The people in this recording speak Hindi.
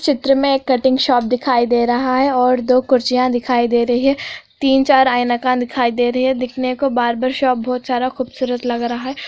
चित्र में एक कटिंग शॉप दिखाई दे रहा है और दो कुर्सियां दिखाई दे रही है तीन चार आइना का दिखाई दे रही है देखनि को बार्बर शॉप बोहोत सारा खूबसूरत लग रहा है।